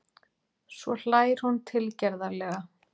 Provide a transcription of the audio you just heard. Svo hlær hún tilgerðarlega.